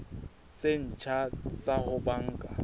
tse ntjha tsa ho banka